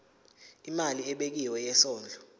imali ebekiwe yesondlo